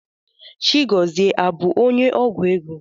Chigọzie abụ onye ọgwụ ego?